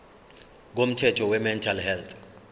komthetho wemental health